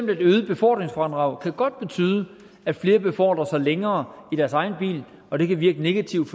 det øgede befordringsfradrag godt betyde at flere befordrer sig længere i deres egen bil og det kan virke negativt